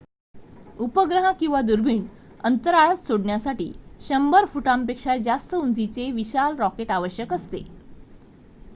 उपग्रह किंवा दुर्बिण अंतराळात सोडण्यासाठी १०० फुटांपेक्षा जास्त उंचीचे विशाल रॉकेट आवश्यक असते